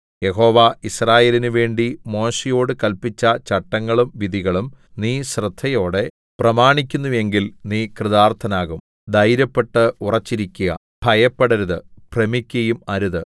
യഹോവ യിസ്രായേലിന് വേണ്ടി മോശെയോടു കല്പിച്ച ചട്ടങ്ങളും വിധികളും നീ ശ്രദ്ധയോടെ പ്രമാണിക്കുന്നു എങ്കിൽ നീ കൃതാർത്ഥനാകും ധൈര്യപ്പെട്ടു ഉറച്ചിരിക്ക ഭയപ്പെടരുതു ഭ്രമിക്കയും അരുതു